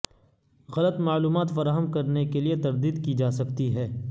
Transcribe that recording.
غلط معلومات فراہم کرنے کے لئے کی تردید کی جاسکتی ہے